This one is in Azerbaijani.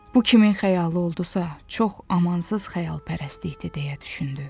Bu kimin xəyalı oldusa, çox amansız xəyalpərəstlikdir deyə düşündü.